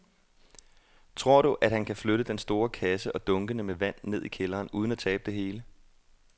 Tror du, at han kan flytte den store kasse og dunkene med vand ned i kælderen uden at tabe det hele?